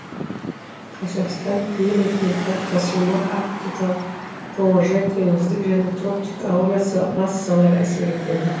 қазақстан климатының қалыптасуына арктикалық қоңыржай теңіздік және тропиктік ауа массалары әсер етеді